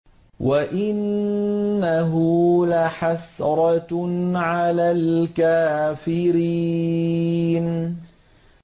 وَإِنَّهُ لَحَسْرَةٌ عَلَى الْكَافِرِينَ